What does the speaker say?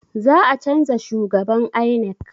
Za a canza shhugaban INEC